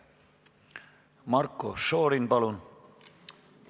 Marko Šorin, palun!